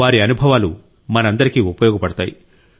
వారి అనుభవాలు మనందరికీ ఉపయోగపడతాయి